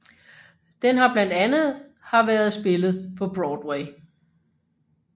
Den har blandt andet har været spillet på Broadway